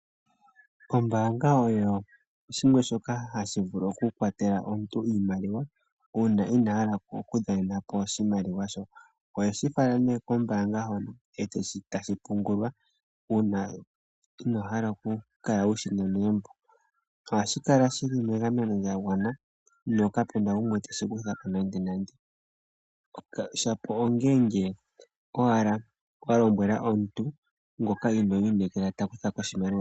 Ombaanga oyo shimwe shoka hashi vulu oku kwatela omuntu iimaliwa uuna inahala okudha nenapo oshimaliwa sho .oheshi fala nee koombanga hono etashi pungulwa uuna inohala kukula wushina megumbo. ohashi kala shili megameno lyagwana nokapena gumwe teshi kuthako nande nande, shapo ongeenge owala walombwela omuntu ngoka ino inekela takuthako oshimaliwa.